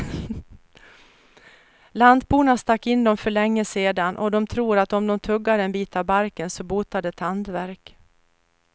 Lantborna stack in dem för länge sedan, och de tror att om de tuggar en bit av barken så botar det tandvärk.